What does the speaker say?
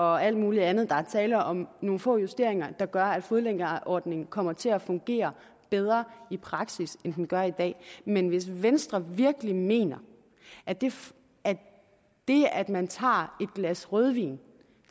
og alt muligt andet der er tale om nogle få justeringer der gør at fodlænkeordningen kommer til at fungere bedre i praksis end den gør i dag men hvis venstre virkelig mener at det det at man tager et glas rødvin